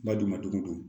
Ba dun madogo don